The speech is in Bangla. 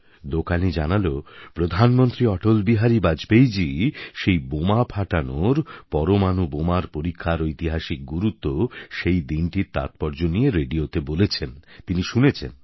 দোকানী জানালো প্রধানমন্ত্রী অটলবিহারি বাজপেয়ীজী সেই বোমা ফাটানোর পরমাণু বোমার পরীক্ষার ঐতিহাসিক গুরুত্ব সেই দিনটির তাৎপর্য নিয়ে রেডিওতে বলেছেন তিনি শুনেছেন